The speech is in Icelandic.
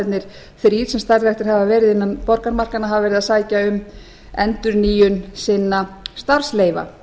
nektardansstaðirnir þrír sem starfræktir hafa verið innan borgarmarkanna hafa verið að sækja um endurnýjun sinna starfsleyfa